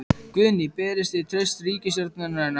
Guðný: Berið þið traust til ríkisstjórnarinnar?